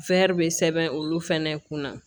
bɛ sɛbɛn olu fɛnɛ kunna